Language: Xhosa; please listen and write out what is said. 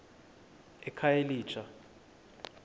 ekhayelitsha